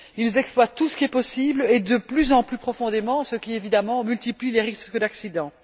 Ils exploitent tout ce qui est possible, et de plus en plus profondément, ce qui, évidemment, multiplie les risques d'accidents.